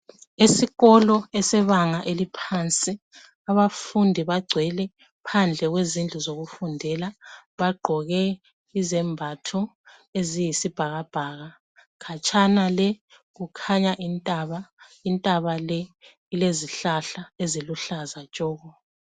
Isikolo esebanga eliphansi abafundi bagcwele phandle kwezindlu zokufundela bagqoke izembatho eziyisibhakabhaka. Khatshana le kukhanya intaba elezihlahla eziluhlaza tshoko.